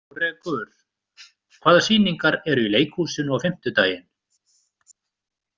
Kórekur, hvaða sýningar eru í leikhúsinu á fimmtudaginn?